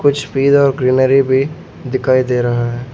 कुछ और ग्रीनरी भी दिखाई दे रहा है।